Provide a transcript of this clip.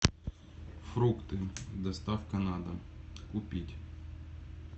фрукты доставка на дом купить